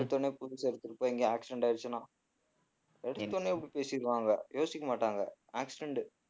எடுத்த உடனே புதுசை எடுத்துட்டு போய் எங்கயோ accident ஆயிடுச்சின்னா எடுத்த உடனே இப்படி பேசிருவாங்க யோசிக்க மாட்டாங்க accident உ